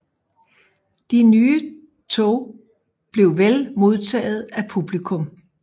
De nye tog blev vel modtaget af publikum